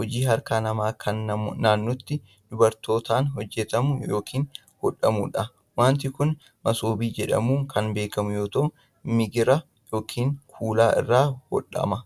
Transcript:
hojii harkaa namaa kan naannotti dubartootaan hojjatamu yokin hodhamuu dha. Wanti kun, masoobii jedhamuun kan beekamu yoo ta'u, migira yokin kuula irraa hodhama.